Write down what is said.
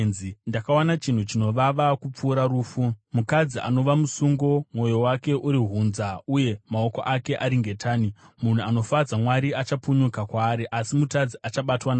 Ndakawana chinhu chinovava kupfuura rufu, mukadzi anova musungo, mwoyo wake uri hunza uye maoko ake ari ngetani. Munhu anofadza Mwari achapunyuka kwaari, asi mutadzi achabatwa naye.